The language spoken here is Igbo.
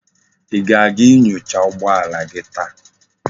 Í ga-aga inyocha ụgbọala gi taa?